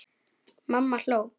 Mamma hló.